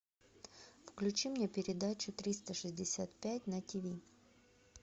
включи мне передачу триста шестьдесят пять на тиви